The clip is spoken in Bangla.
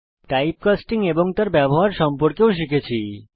এছাড়াও আমরা টাইপকাস্টিং এবং তার ব্যবহার সম্পর্কে শিখেছি